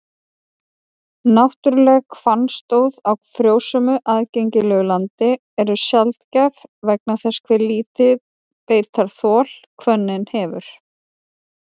Náttúruleg hvannstóð á frjósömu, aðgengilegu landi eru sjaldgæf vegna þess hve lítið beitarþol hvönnin hefur.